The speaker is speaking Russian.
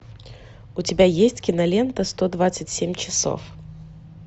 у тебя есть кинолента сто двадцать семь часов